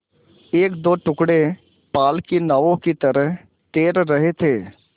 एकदो टुकड़े पाल की नावों की तरह तैर रहे थे